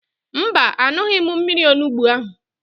Mba, an̄ụghị m mmiri onugbo ahụ.